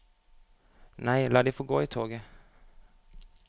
Nei, la de få gå i toget.